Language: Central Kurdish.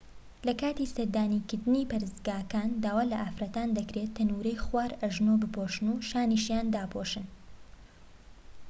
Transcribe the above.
لە کاتی سەردانیکردنی پەرستگاکان داوا لە ئافرەتان دەکرێت تەنورەی خوار ئەژنۆ بپۆشن و شانیشیان داپۆشن